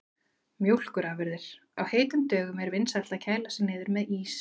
Mjólkurafurðir: Á heitum dögum er vinsælt að kæla sig niður með ís.